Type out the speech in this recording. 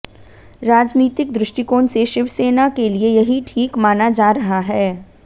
राजनीतिक दृष्टिकोण से शिवसेना के लिए यही ठीक माना जा रहा है